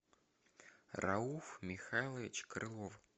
рауф михайлович крылов